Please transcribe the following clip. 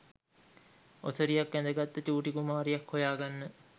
ඔසරියක් ඇඳගත්ත චූටි කුමාරියක් හොයාගන්න